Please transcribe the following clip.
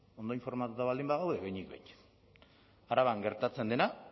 ondo informatuta baldin bagaude behinik behin araban gertatzen dena